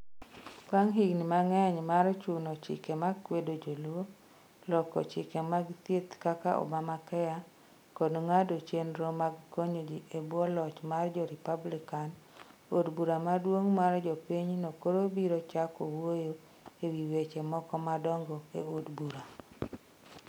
Bang ' higini mang'eny mar chuno chike ma kwedo joluo, loko chike mag thieth kaka Obamacare, koda ng'ado chenro mag konyo ji e bwo loch mar jo Republican, od bura maduong ' mar jo pinyno koro biro chako wuoyo e wi weche moko madongo e od bura.